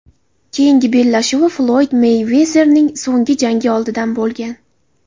Keyingi bellashuvi Floyd Meyvezerning so‘nggi jangi oldidan bo‘lgan.